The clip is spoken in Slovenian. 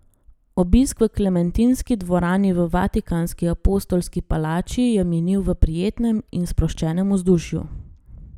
Obisk v Klementinski dvorani v vatikanski apostolski palači je minili v prijetnem in sproščenem vzdušju.